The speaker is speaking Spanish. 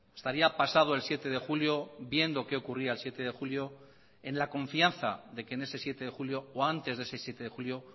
estaría pasado el siete de julio viendo qué ocurría el siete de julio en la confianza de que en ese siete de julio o antes de ese siete de julio